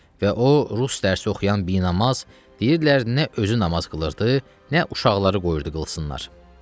Və o rus dərsi oxuyan binamaz, deyirdilər, nə özü namaz qılırdı, nə uşaqları qoyurdu qılsınlar.